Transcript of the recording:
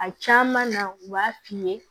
A caman na u b'a f'i ye